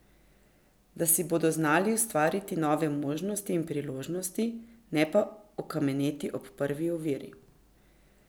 Da si bodo znali ustvariti nove možnosti in priložnosti, ne pa okameneti ob prvi oviri.